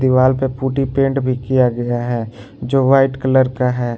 दीवाल पे putty paint भी किया गया है जो वाइट कलर का है।